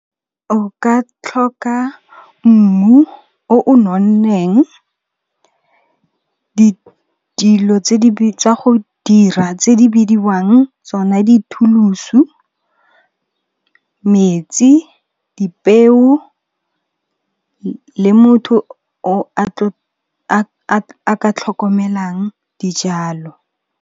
O ka tlhoka mmu o o nonneng, dilo tsa go dira tse di bidiwang tsona dithulusu, metsi, dipeo le motho a ka tlhokomelang dijalo.